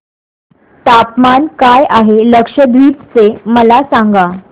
तापमान काय आहे लक्षद्वीप चे मला सांगा